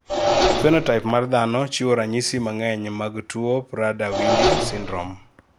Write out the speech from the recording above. Phenotype mar dhano chiwo ranyisi mang'eny mag tuo Prader Willi syndrome